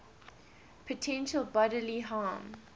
potential bodily harm